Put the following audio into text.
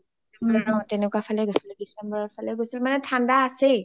অ তেনেকুৱা ফালে গৈছিলো december ৰ ফালে গৈছিলো মানেই ঠাণ্ডা আছেই